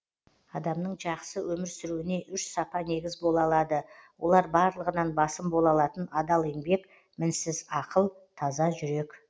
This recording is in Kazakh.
адамның жақсы өмір сүруіне үш сапа негіз бола алады олар барлығынан басым бола алатын адал еңбек мінсіз ақыл таза жүрек